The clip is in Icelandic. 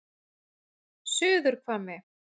Suðurhvammi